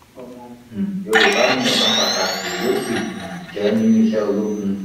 ọmọ um yorùbá ní ọkan pàtàkì ló sì um jẹ nínú iṣẹ ológun